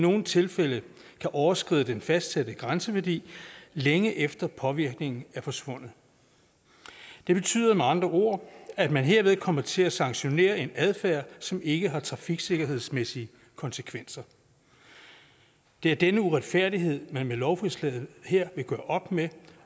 nogle tilfælde kan overskride den fastsatte grænseværdi længe efter at påvirkningen er forsvundet det betyder med andre ord at man herved kommer til at sanktionere en adfærd som ikke har trafiksikkerhedsmæssige konsekvenser det er denne uretfærdighed man med lovforslaget her vil gøre op med